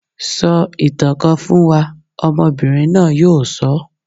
Sọ ìtàn kan fún wa! Ọmọbìnrin náà yóò sọ.